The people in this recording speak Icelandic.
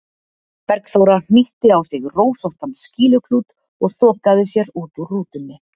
Bergþóra, hnýtti á sig rósóttan skýluklút og þokaði sér út úr rútunni.